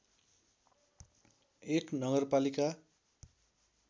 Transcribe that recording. १ नगरपालिका